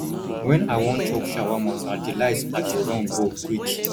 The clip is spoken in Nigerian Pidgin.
wen i wan chop shawama na delights i dey run go quick